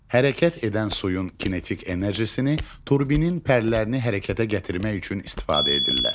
Hərəkət edən suyun kinetik enerjisini turbinin pərlərini hərəkətə gətirmək üçün istifadə edirlər.